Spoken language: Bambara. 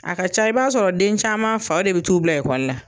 A ka ca i b'a sɔrɔ den caman faw de bɛ t'u bila ekɔli la